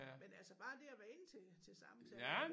Men altså bare det at være inde til til samtale